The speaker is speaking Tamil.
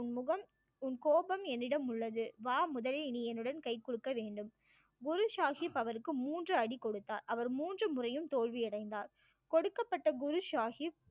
உன் முகம் உன் கோபம் என்னிடம் உள்ளது வா முதலில் நீ என்னுடன் கை குலுக்க வேண்டும் குரு சாஹிப் அவருக்கு மூன்று அடி கொடுத்தார் அவர் மூன்று முறையும் தோல்வியடைந்தார் கொடுக்கப்பட்ட குரு சாஹிப்